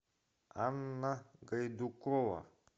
анна гайдукова